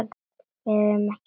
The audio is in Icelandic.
Við erum ekki sátt.